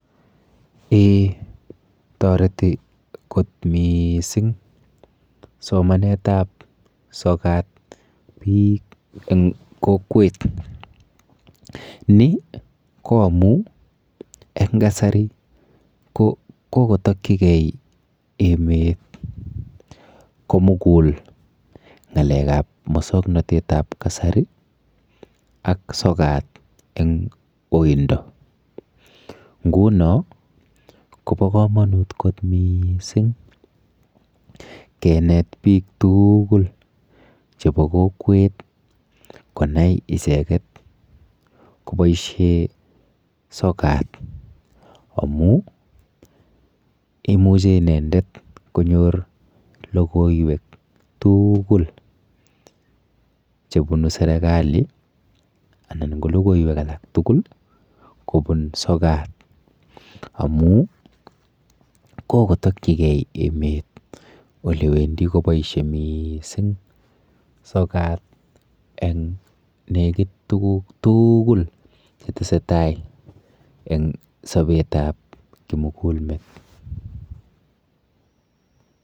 Eeh! Toreti kot mising somanetab sokat biik eng kokwet. Ni koamun en kasari kokokotakyigei emet komugul ngalekab moswoknatetab kasari ak sokat eng oindo. Nguno kobokamanut kot mising kenet biik tugul chebo kokwet konai icheget koboisie sokat amu imuchi inendet konyor logoiwek tugul chebunu sergali anan ko logoiywek alak tugul kobun sokat amu kokotakyigei emet olewendi kotakyinge mising sokat eng negit tuguk tugul chetesetai en sobetab kimugulmet.